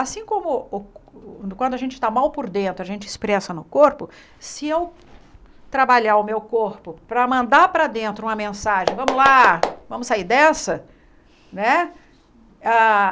Assim como quando a gente está mal por dentro, a gente expressa no corpo, se eu trabalhar o meu corpo para mandar para dentro uma mensagem, vamos lá, vamos sair dessa, né? Ah